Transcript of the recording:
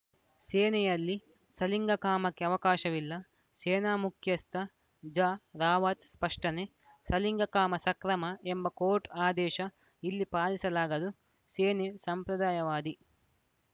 ಸೇನೆಯಲ್ಲಿ ಸಲಿಂಗಕಾಮಕ್ಕೆ ಅವಕಾಶವಿಲ್ಲ ಸೇನಾ ಮುಖ್ಯಸ್ಥ ಜ ರಾವತ್‌ ಸ್ಪಷ್ಟನೆ ಸಲಿಂಗಕಾಮ ಸಕ್ರಮ ಎಂಬ ಕೋರ್ಟ್‌ ಆದೇಶ ಇಲ್ಲಿ ಪಾಲಿಸಲಾಗದು ಸೇನೆ ಸಂಪ್ರದಾಯವಾದಿ